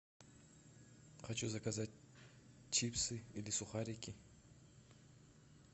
хочу заказать чипсы или сухарики